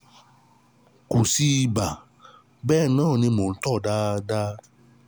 Kò sí ibà, bẹ́ẹ̀ náà ni mò ń tọọ̀ dáadáa